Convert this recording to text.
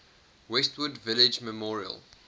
westwood village memorial